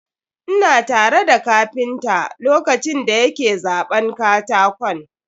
Ina tare da kapinta lokacin da ya ke zaɓan katakon.